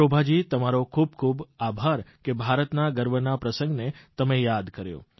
શોભાજી તમારો ખૂબ ખૂબ આભાર કે ભારતના ગર્વના પ્રસંગને તમે યાદ કર્યો